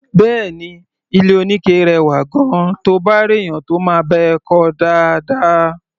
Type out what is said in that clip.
Bẹ́ẹ̀ni, ilé-oníke rẹwà gan-an, to bá réèyàn tó máa bá ẹ kọ́ ọ dáadáa.